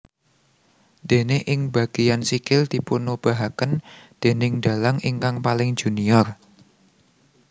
Déné ing bageyan sikil dipunobahaken déning dalang ingkang paling junior